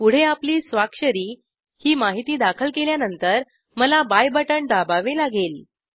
पुढे आपली स्वाक्षरी ही माहिती दाखल केल्यानंतर मला बाय बटण दाबावे लागेल